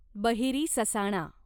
बहिरी ससाणा